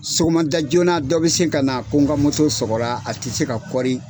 Sɔgɔma da joona dɔ bɛ se ka na ko n ka sɔgɔra a tɛ se ka .